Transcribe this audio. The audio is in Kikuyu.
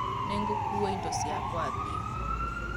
Nĩgũkua indo ciakwa thiĩ .